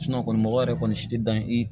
kɔni mɔgɔ yɛrɛ kɔni si tɛ dan i